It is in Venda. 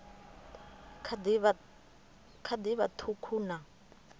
kha ḓi vha ṱhukhu na